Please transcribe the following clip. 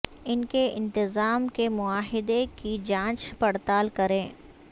ان کے انتظام کے معاہدے کی جانچ پڑتال کریں